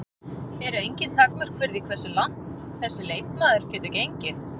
Eru engin takmörk fyrir því hversu langt þessi leikmaður getur gengið?